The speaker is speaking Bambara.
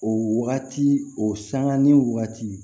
O wagati o sanŋa ni wagati